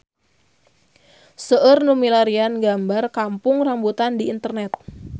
Seueur nu milarian gambar Kampung Rambutan di internet